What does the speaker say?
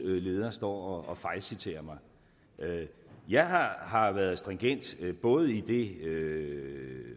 leder står og fejlciterer mig jeg har har været stringent både i det